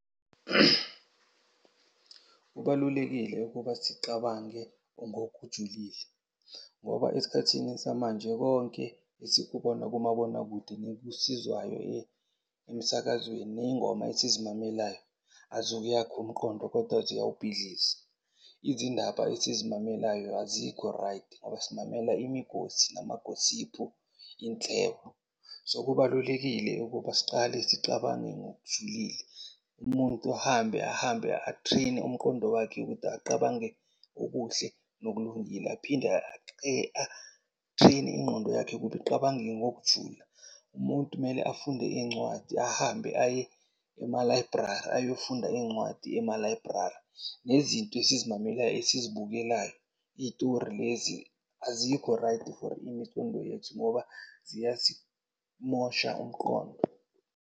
Kubalulekile ukuba siqabange ngokujulile ngoba esikhathini samanje konke esikubona kumabonakude nekusizwayo emsakazweni, ney'ngoma esizimamelayo aziwuyakhi umqondo kodwa ziyawubhidliza. Izindaba esizimamelayo azikho-right ngoba silalela imigosi, nama-gossip, inhlebo. So, kubalulekile ukuba siqale sicabange ngokujulile. Umuntu ahambe ahambe a-train-e umqondo wakhe ukuthi aqabange okuhle nokulungile. Aphinde a-train-e ingqondo yakhe ukuba iqabange ngokujula. Umuntu mele afunde iy'ncwadi, ahambe aye ema-library ayofunda iy'ncwadi ema-library. Nezinto esizimamelayo, esizibukelayo iy'tori lezi azikho-right for imicondo yethu ngoba ziyasimosha umqondo.